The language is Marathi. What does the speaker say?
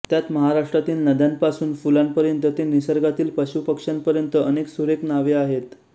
त्यात महाराष्ट्रातील नद्यांपासून फुलांपर्यंत ते निसर्गातील पशूपक्ष्यांपर्यंत अनेक सुरेख नावे आहेत